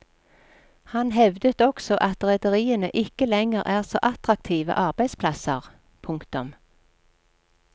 Han hevdet også at rederiene ikke lenger er så attraktive arbeidsplasser. punktum